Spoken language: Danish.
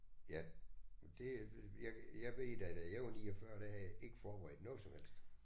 Ja og det jeg jeg ved da da jeg var 49 der havde jeg ikke forberedt noget som helst